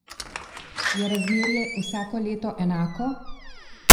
Je razmerje vsako leto enako?